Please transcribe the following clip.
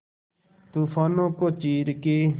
तूफानों को चीर के